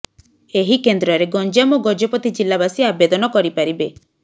ଏହି କେନ୍ଦ୍ରରେ ଗଞ୍ଜାମ ଓ ଗଜପତି ଜିଲ୍ଲାବାସୀ ଆବେଦନ କରିପାରିବେ